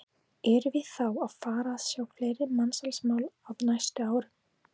Gunnar: Erum við þá að fara að sjá fleiri mansalsmál á næstu árum?